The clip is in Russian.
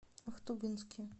ахтубинске